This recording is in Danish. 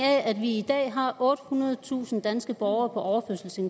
af at vi i dag har ottehundredetusind danske borgere